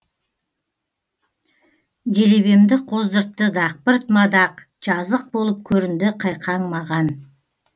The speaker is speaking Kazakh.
делебемді қоздыртты дақпырт мадақ жазық болып көрінді қайқаң маған